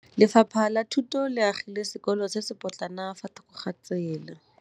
Lefapha la Thuto le agile sekôlô se se pôtlana fa thoko ga tsela.